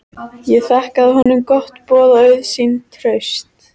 Ég þakkaði honum gott boð og auðsýnt traust.